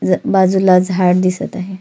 ज बाजुला झाड दिसत आहे.